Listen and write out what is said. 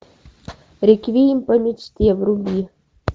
реквием по мечте вруби